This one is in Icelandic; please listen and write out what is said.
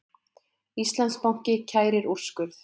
Íslandsbanki kærir úrskurð